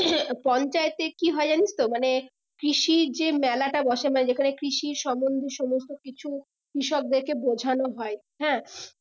পঞ্চায়েত এ কি হয় জানিস তো মানে কৃষির যে মেলা টা বসে মানে যেখানে কৃষির সম্বন্ধে সমস্ত কিছু কৃষকদেরকে বোঝানো হয় হ্যাঁ